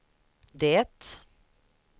det